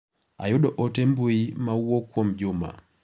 Ayudo ote mbui ma owuok kuom Juma.